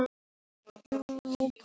Æ, gleymdu því bara- sagði